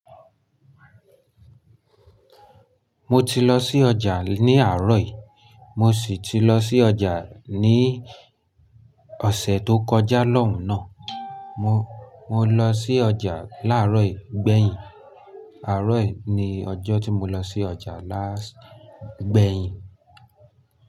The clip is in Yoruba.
Mo ti lọ sí ọjà ní àárọ̀ yìí mo sì ti lọ sí ọjà ní ọ̀sẹ̀ tó kọjá lọ́hùn-nà. Mo lọ sí ọjà láàárọ̀ yìí gbẹ̀yìn. Àárọ̀ yìí ni ọjọ́ tí mo lọ sí ọjà láàṣì gbẹ̀yìn.